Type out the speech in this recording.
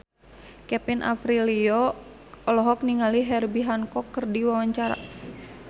Kevin Aprilio olohok ningali Herbie Hancock keur diwawancara